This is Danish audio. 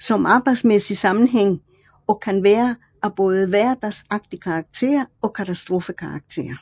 som arbejdsmæssig sammenhæng og kan være af både hverdagsagtig karakter og katastrofekarakter